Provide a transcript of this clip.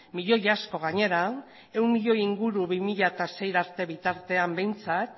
milioi asko gainera ehun milioi inguru bi mila sei arte bitartean behintzat